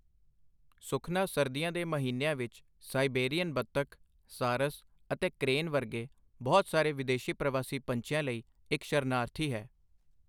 ਸੁਖਨਾ ਸਰਦੀਆਂ ਦੇ ਮਹੀਨਿਆਂ ਵਿੱਚ ਸਾਈਬੇਰੀਅਨ ਬਤਖ, ਸਾਰਸ ਅਤੇ ਕ੍ਰੇਨ ਵਰਗੇ ਬਹੁਤ ਸਾਰੇ ਵਿਦੇਸੀ ਪ੍ਰਵਾਸੀ ਪੰਛੀਆਂ ਲਈ ਇੱਕ ਸ਼ਰਨਾਰਥੀ ਹੈ।